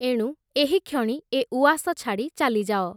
ଏଣୁ ଏହିକ୍ଷଣି ଏ ଉଆସ ଛାଡ଼ି ଚାଲିଯାଅ ।